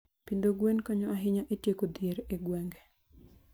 Pidho gwen konyo ahinya e tieko dhier e gwenge.